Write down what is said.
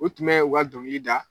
O tun bɛ u ka dɔngili da.